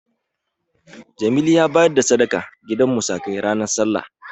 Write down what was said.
Jazuli ya bayar da sadaka gidan musakai ranar Sallah.